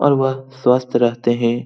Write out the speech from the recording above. ओर वह स्वस्त रहतें हैं |